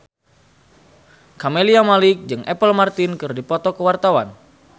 Camelia Malik jeung Apple Martin keur dipoto ku wartawan